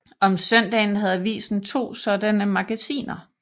Om søndagen havde avisen to sådanne magasiner